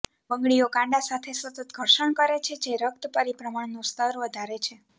બંગડીઓ કાંડા સાથે સતત ઘર્ષણ કરે છે જે રક્ત પરિભ્રમણનું સ્તર વધારે છે